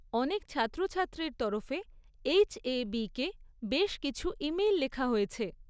অনেক ছাত্রছাত্রীর তরফে এইচ এ বিকে বেশ কিছু ইমেইল লেখা হয়েছে।